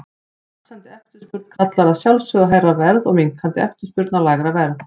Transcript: Vaxandi eftirspurn kallar að sjálfsögðu á hærra verð og minnkandi eftirspurn á lægra verð.